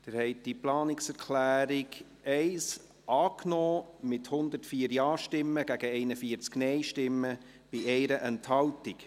Sie haben diese Planungserklärung 1 angenommen, mit 104 Ja- gegen 41 Nein-Stimmen bei 1 Enthaltung.